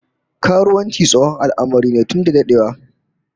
Karuwanci tsohon al'amari ne tun dadewa